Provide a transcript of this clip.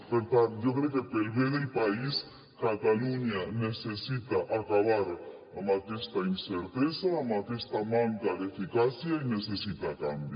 per tant jo crec que pel bé del país catalunya necessita acabar amb aquesta incertesa amb aquesta manca d’eficàcia i necessita canvi